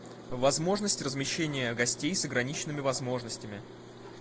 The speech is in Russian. возможность размещения гостей с ограниченными возможностями